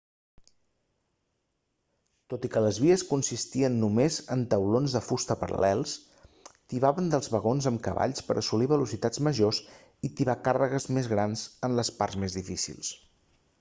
tot i que les vies consistien només en taulons de fusta paral·lels tibaven dels vagons amb cavalls per assolir velocitats majors i tibar càrregues més grans en les parts més difícils